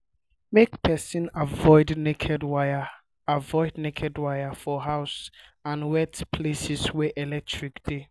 make person avoid naked wire avoid naked wire um for house and wet places wey electric dey